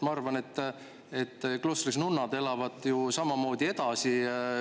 Ma arvan, et nunnad elavad kloostris samamoodi edasi.